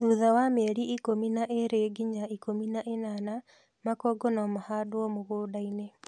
Thutha wa mĩeli ikũmi na ĩli nginya ikũmi na ĩnana, makongo no mahandwo mũgũndainĩ